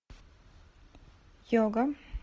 йога